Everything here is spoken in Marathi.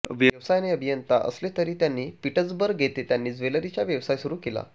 व्यवसायाने अभियंता असले तरी त्यांनी पीटसबर्ग येथे त्यांनी ज्वेलरीचा व्यवसाय सुरू केला